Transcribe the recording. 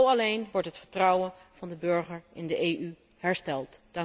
Alleen zo wordt het vertrouwen van de burger in de EU hersteld.